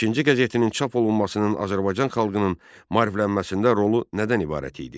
Əkinçi qəzetinin çap olunmasının Azərbaycan xalqının maariflənməsində rolu nədən ibarət idi?